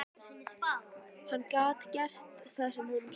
Hann gat gert það sem honum sýndist.